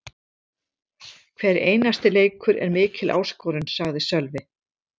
Hver einasti leikur er mikil áskorun, sagði Sölvi.